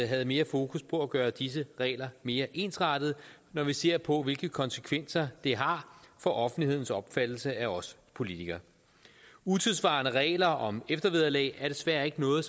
havde mere fokus på at gøre disse regler mere ensrettede når vi ser på hvilke konsekvenser de har for offentlighedens opfattelse af os politikere utidssvarende regler om eftervederlag er desværre ikke noget